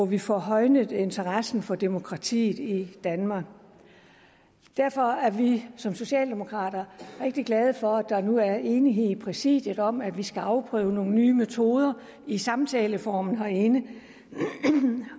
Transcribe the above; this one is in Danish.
vi får højnet interessen for demokratiet i danmark derfor er vi som socialdemokrater rigtig glade for at der nu er enighed i præsidiet om at vi skal afprøve nogle nye metoder i samtaleform herinde